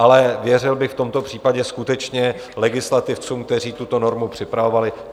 Ale věřil bych v tomto případě skutečně legislativcům, kteří tuto normu připravovali.